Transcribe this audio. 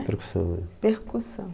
Percussão, é. Percussão.